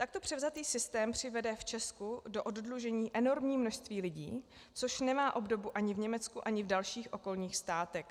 Takto převzatý systém přivede v Česku do oddlužení enormní množství lidí, což nemá obdobu ani v Německu, ani v dalších okolních státech.